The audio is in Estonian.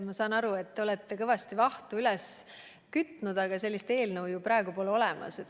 Ma saan aru, et te olete kõvasti vahtu üles kloppinud, aga sellist eelnõu ju praegu pole olemas.